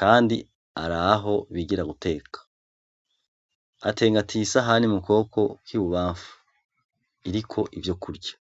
kandi araho bigira guteka atengatiye isahani mu kuboko kw'ibubamfu iriko ivyo kurya.